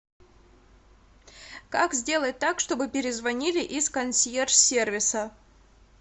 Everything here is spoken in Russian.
как сделать так чтобы перезвонили из консьерж сервиса